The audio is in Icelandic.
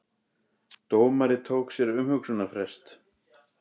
Dómari tók sér umhugsunarfrest